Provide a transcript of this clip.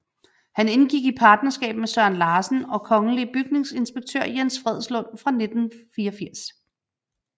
Han indgik i partnerskab med Søren Larsen og kongelig bygningsinspektør Jens Fredslund fra 1984